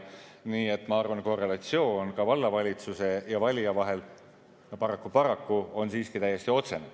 Nii et ma arvan, et korrelatsioon vallavalitsuse ja valija vahel paraku on siiski täiesti otsene.